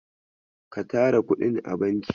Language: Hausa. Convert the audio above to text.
Ka tara kuɗin a banki.